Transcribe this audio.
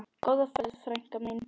Góða ferð, frænka mín.